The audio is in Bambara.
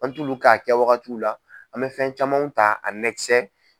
An t'ulu ka a kɛ wagatiw la an mɛ fɛn camanw ta